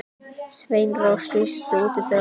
Sveinrós, læstu útidyrunum.